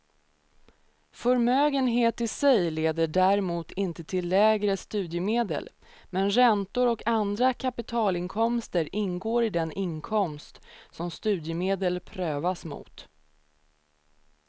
Förmögenhet i sig leder däremot inte till lägre studiemedel, men räntor och andra kapitalinkomster ingår i den inkomst som studiemedel prövas mot.